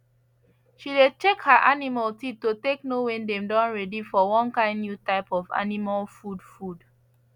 she dey check her animal teeth to take know wen dem don ready for one kind new type of animal food food